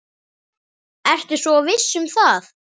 Ertu svo viss um það?